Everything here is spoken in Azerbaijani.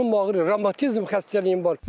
Canım ağrıyır, revmatizm xəstəliyim var.